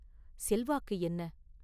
செல்வாக்கு என்ன?